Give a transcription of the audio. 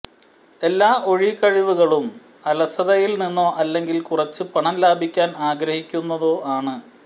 എല്ലാ ഒഴികഴിവുകളും അലസതയിൽ നിന്നോ അല്ലെങ്കിൽ കുറച്ചു പണം ലാഭിക്കാൻ ആഗ്രഹിക്കുന്നോ ആണ്